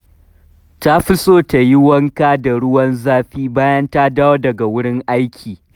Ta fi so ta yi wanka da ruwan zafi bayan ta dawo daga wurin aiki